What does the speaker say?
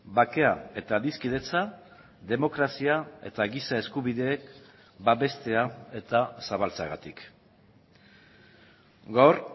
bakea eta adiskidetza demokrazia eta giza eskubideek babestea eta zabaltzeagatik gaur